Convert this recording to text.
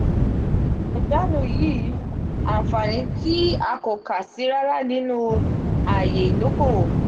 iwa ijanu yii anfani ti akokasi rara ninu aaye idokowo.